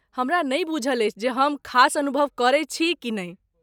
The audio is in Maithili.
हमरा नहि बूझल अछि जे हम खास अनुभव करैत छी कि नहि।